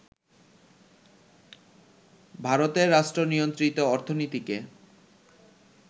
ভারতের রাষ্ট্রনিয়ন্ত্রিত অর্থনীতিকে